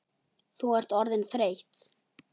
Þú ert orðin þreytt.